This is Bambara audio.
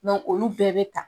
Dɔnku olu bɛɛ bɛ ta.